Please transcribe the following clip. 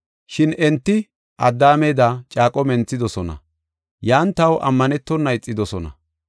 “Shin enti Addaameda, caaqo menthidosona; yan taw ammanetona ixidosona.